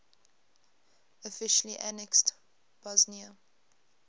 officially annexed bosnia